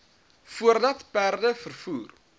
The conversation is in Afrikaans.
voordat perde vervoer